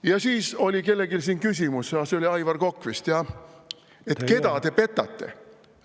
Ja siis oli kellelgi siin küsimus – see oli Aivar Kokk vist, jah –, keda te petate.